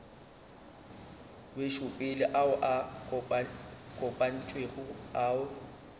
wetšopele ao a kopantšwego ao